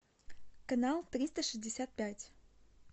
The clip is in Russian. канал триста шестьдесят пять